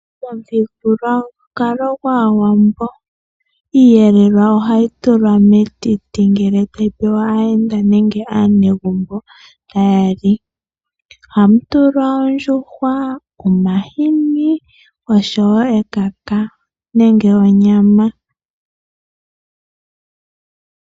Momuthigululwakalo gwAawambo iiyelelwa ohayi tulwa metiti ngele tayi pewa aayenda nenge aanegumbo taya li. Ohamu tulwa ondjuhwa, omahini oshowo ekaka nenge onyama.